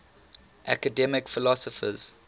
academic philosophers